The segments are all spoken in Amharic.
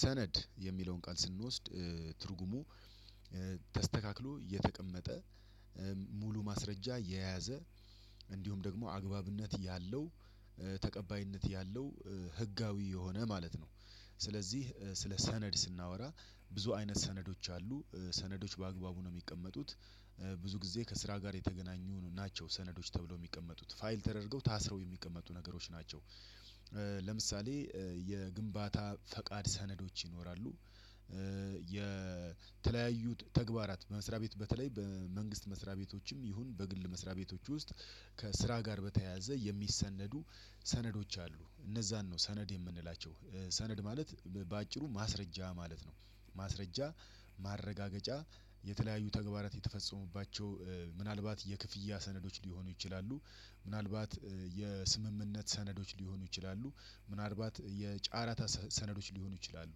ሰነድ የሚለውን ቃል ስንወስድ ትርጉሙ ተስተካክሎ እየተቀመጠ ሙሉ ማስረጃ የያዘ እንዲሁም ደግሞ አግባብነት ያለው ተቀባይነት ያለው ህጋዊ የሆነ ማለት ነው። ስለዚህ ስለ ሰነድ ስናወራ ብዙ አይነት ሰነዶች አሉ ሰነዶች በአግባቡ ነው የሚቀመጡት። ብዙ ጊዜ ከስራ ጋር የተገናኙ ናቸው ሰነዶች ተብለው የሚቀመጡት ፋይል ተደርገው ታስረው የሚቀመጡ ነገሮች ናቸው። ለምሳሌ የግንባታ ፈቃድ ሰነዶች ይኖራሉ። የተለያዩ ተግባራት በመስሪያ ቤት በተለይ በመንግስት መስሪያ ቤቶችም ይሁን በግል መስሪያ ቤቶች ውስጥ ከስራ ጋር በተያያዘ የሚሰነዱ ሰነዶች አሉ እነዛን ነው ሰነድ የምንላቸው። ሰነድ ማለት በአጭሩ ማስረጃ ማለት ነው። ማስረጃ ማረጋገጫ የተለያዩ ተግባራት የተፈጸሙባቸው ምናልባት የክፍያ ሰነዶች ሊሆኑ ይችላሉ። ምናልባት የስምምነት ሰነዶች ሊሆኑ ይችላሉ። ምናልባት የጫራታ ሰነዶች ሊሆኑ ይችላሉ።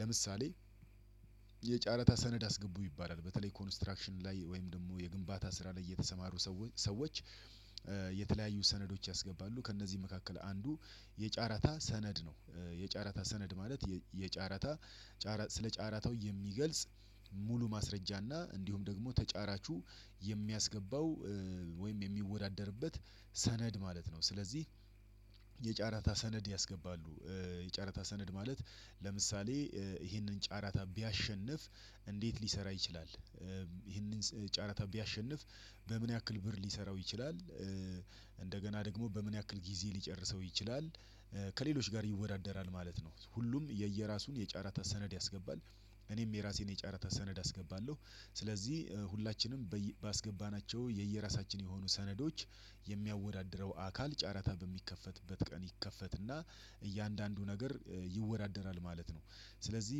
ለምሳሌ የጨረታ ሰነድ አስገቡ ይባላል በተለይ ኮንስትራክሽን ላይ ወይም ደግሞ የግንባታ ስራ ላይ እየተሰማሩ ሰዎች። የተለያዩ ሰነዶች ያስገባሉ ከእነዚህ መካከል አንዱ የጨረታ ሰነድ ነው። የጨረታ ሰነድ ማለት የጨረታ ስለ ጨረታው የሚገልጽ ሙሉ ማስረጃና እንዲሁም ደግሞ ተጫራቹ የሚያስገባው ወይም የሚወዳደርበት ሰነድ ማለት ነው። ስለዚህ የጨረታ ሰነድ ያስገባሉ የጨረታ ሰነድ ማለት ለምሳሌ ይሄንን ጨረታ ቢያሸንፍ እንዴት ሊሰራ ይችላል? ይህንን ጨረታ ቢያሸንፍ በምን ያክል ብር ሊሰራው ይችላል? እንደገና ደግሞ በምን ያክል ጊዜ ሊጨርሰው ይችላል? ከሌሎች ጋር ይወዳደራል ማለት ነው። ሁሉም የየራሱን የጨረታ ሰነድ ያስገባል። እኔም የራሴን የጨረታ ሰነድ አስገባለሁ። ስለዚህ ሁላችንም ባስገባናቸው የየራሳችን የሆኑ ሰነዶች የሚያወዳድረው አካል ጨረታ በሚከፈትበት ቀን ይከፈትና እያንዳንዱ ነገር ይወዳደራል ማለት ነው። ስለዚህ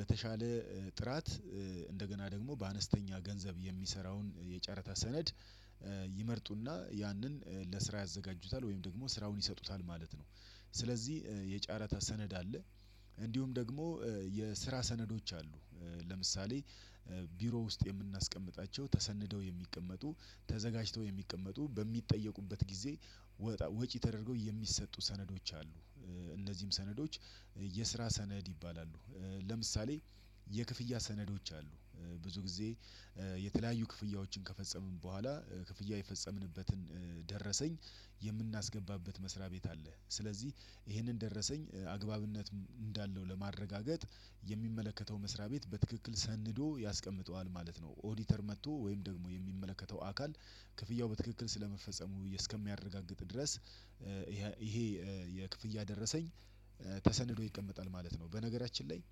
በተሻለ ጥራት እንደገና ደግሞ በአነስተኛ ገንዘብ የሚሰራውን የጨረታ ሰነድ ይመርጡና ያንን ለስራ ያዘጋጁታል ወይም ደግሞ ስራውን ይሰጡታል ማለት ነው። ስለዚህ የጨረታ ሰነድ አለ። እንዲሁም ደግሞ የስራ ሰነዶች አሉ። ለምሳሌ ቢሮ ውስጥ የምናስቀምጣቸው ተሰንደው የሚቀመጡ ተዘጋጅተው የሚቀመጡ በሚጠየቁበት ጊዜ ወጪ ተደርገው የሚሰጡ ሰነዶች አሉ። እነዚህም ሰነዶች የስራ ሰነድ ይባላሉ። ለምሳሌ የክፍያ ሰነዶች አሉ። ብዙ ጊዜ የተለያዩ ክፍያዎችን ከፈጸምን በኋላ ክፍያ የፈጸምንበትን ደረሰኝ የምናስገባበት መስሪያ ቤት አለ ስለዚህ ይሄንን ደረሰኝ አግባብነት እንዳለው ለማረጋገጥ የሚመለከተው መስሪያ ቤት በትክክል ሰንዶ ያስቀምጠዋል ማለት ነው። ኦዲተር መጥቶ ወይም ደግሞ የሚመለከተው አካል ክፍያው በትክክል ስለመፈጸሙ እስከሚያረጋግጥ ድረስ። ይሄ የክፍያ ደረሰኝ ተሰንዶ ይቀመጣል ማለት ነው። በነገራችን ላይ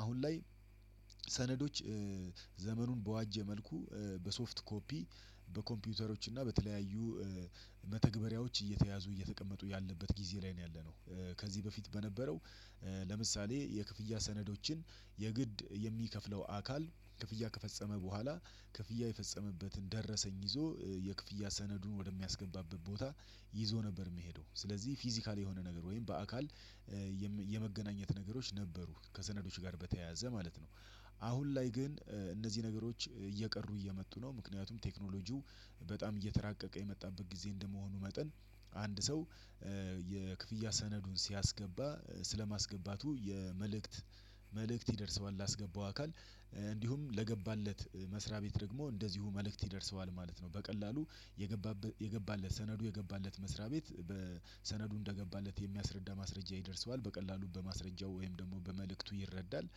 አሁን ላይ ሰነዶች ዘመኑን በዋጀ መልኩ በሶፍት ኮፒ በኮምፒውተሮች እና በተለያዩ መተግበሪያዎች እየተያዙ እየተቀመጡ ያለበት ጊዜ ላይ ነው ያለነው። ከዚህ በፊት በነበረው ለምሳሌ የክፍያ ሰነዶችን የግድ የሚከፍለው አካል ክፍያ ከፈጸመ በኋላ ክፍያ የፈጸመበትን ደረሰኝ ይዞ የክፍያ ሰነዱን ወደሚያስገንባበት ቦታ ይዞ ነበር የምሄደው ስለዚህ ፊዚካል የሆነ ነገር ወይም በአካል የመገናኘት ነገሮች ነበሩ ከሰነዶች ጋር በተያያዘ ማለት ነው። አሁን ላይ ግን እነዚህ ነገሮች እየቀሩ እየመጡ ነው። ምክንያቱም ቴክኖሎጂው በጣም እየተራቀቀ የመጣበት ጊዜ እንደመሆኑ መጠን አንድ ሰው የክፍያ ሰነዱን ሲያስገባ ስለማስገባቱ የመልእክት መልእክት ይደርሰዋል ላስገባው አካል እንዲሁም ለገባለት መስሪያ ቤት ደግሞ እንደዚሁ መልእክት ይደርሰዋል ማለት ነው። በቀላሉ የገባለት ሰነዱ የገባለት መስሪያ ቤት በሰነዱ እንደገባለት የሚያስረዳ ማስረጃ ይደርሰዋል በቀላሉ በማስረጃው ወይም ደግሞ በመልእክቱ ይረዳል።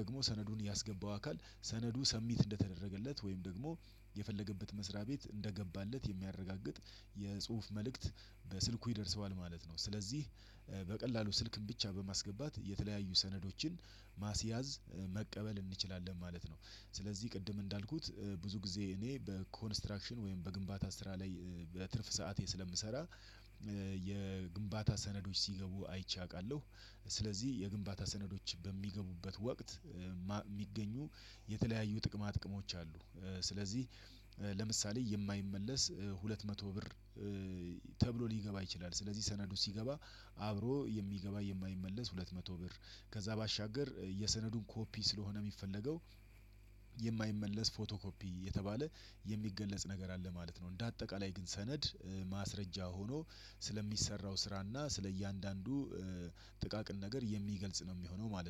ደግሞ ሰነዱን ያስገባው አካል ሰነዱ ሰብሚት እንደተደረገለት ወይም ደግሞ የፈለገበት መስሪያ ቤት እንደገባለት የሚያረጋግጥ የጽሁፍ መልእክት በስልኩ ይደርሰዋል ማለት ነው። ስለዚህ በቀላሉ ስልክን ብቻ በማስገባት የተለያዩ ሰነዶችን ማስያዝ መቀበል እንችላለን ማለት ነው። ስለዚህ ቅድም እንዳልኩት ብዙ ጊዜ እኔ በኮንስትራክሽን ወይም በግንባታ ስራ ላይ በትርፍ ሰዓቴ ስለምሰራ የግንባታ ሰነዶች ሲገቡ አይቼ አውቃለሁ። ስለዚህ የግንባታ ሰነዶች በሚገቡበት ወቅት የሚገኙ የተለያዩ ጥቅማ ጥቅሞች አሉ። ስለዚህ ለምሳሌ የማይመለስ ሁለት መቶ ብር ተብሎ ሊገባ ይችላል። ስለዚህ ሰነዱ ሲገባ አብሮ የሚገባ የማይመለስ ሁለት መቶ ብር ከዛ ባሻገር የሰነዱን ኮፒ ስለሆነ የሚፈለገው የማይመለስ ፎቶ ኮፒ የተባለ የሚገለጽ ነገር አለ ማለት ነው። እንደ አጠቃላይ ግን ሰነድ ማስረጃ ሆኖ ስለሚሰራው ስራና ስለእያንዳንዱ ጥቃቅን ነገር የሚገልጽ ነው የሚሆነው ማለት ነው